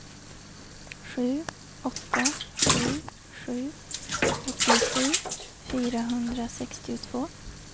sju åtta sju sju åttiosju fyrahundrasextiotvå